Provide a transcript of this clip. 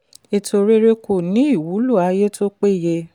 ètò rere kò ní ìwúlò ayé tó péye.